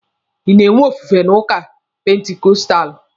Ị na-enwe ofufe n'ụka pentikostalụ?